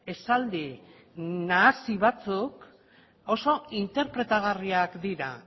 esaldi nahasi batzuk oso interpretagarriak dira